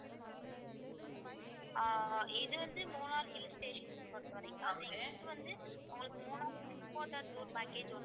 ஆஹ் இது வந்து Munnar hill stations பொறுத்தவரைக்கும் வந்து உங்களுக்கு மூணாறு tour package